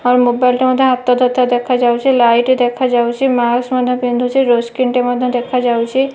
ହର mobile ଟେ ମଧ୍ୟ ହାତରେ ଧରିଥିବାର ଦେଖା ଯାଉଚି। ଲାଇଟ୍ ଦେଖା ଯାଉଚି। ମାସ୍କ ମଧ୍ୟ ପିନ୍ଧୁଚି। ଡୋର ସ୍କ୍ରିନ୍ ଟେ ମଧ୍ୟ ଦେଖା ଯାଉଚି।